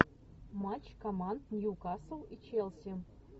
матч команд ньюкасл и челси